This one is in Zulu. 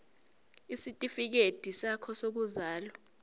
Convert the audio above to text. isitifikedi sakho sokuzalwa